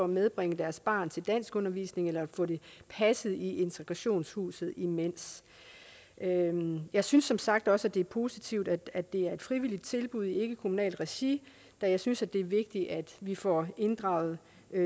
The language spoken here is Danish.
medbringe deres børn til danskundervisning eller få dem passet i integrationshuset imens jeg synes som sagt også det er positivt at det er et frivilligt tilbud i ikkekommunalt regi da jeg synes det er vigtigt at vi får inddraget